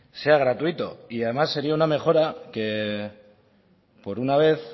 sea gratuito y además sería una mejora que por una vez